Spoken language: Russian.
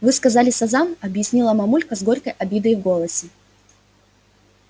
вы сказали сазан объяснила мамулька с горькой обидой в голосе